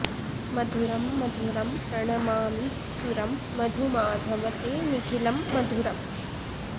मधुरं मधुरं प्रणमामि सुरं मधुमाधव ते निखिलं मधुरम्